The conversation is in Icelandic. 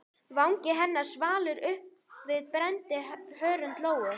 Vangi hennar svalur uppi við brennandi hörund Lóu.